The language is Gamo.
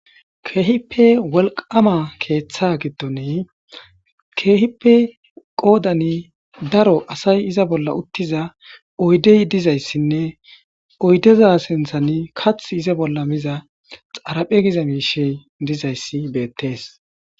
keehipe wolqama keeththa giddoni keehipe qoodani daro asay iza bolla uttiza oydey dizayssinne oydeza sinthan kath iza bolla miza xaraphe giza miishe dizayssi beettees